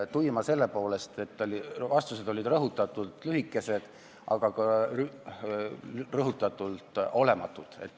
Tuima selles mõttes, et vastused olid rõhutatult lühikesed, aga ka rõhutatult olematud.